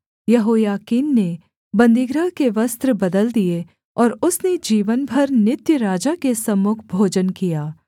यहोयाकीन ने बन्दीगृह के वस्त्र बदल दिए और उसने जीवन भर नित्य राजा के सम्मुख भोजन किया